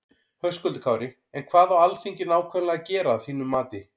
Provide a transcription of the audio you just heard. Höskuldur Kári: En hvað á Alþingi nákvæmlega að gera að þínum mati?